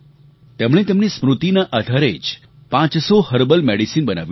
તેમણે તેમની સ્મૃતિના આધારે જ પાંચસો હર્બલ મેડિસીન બનાવી છે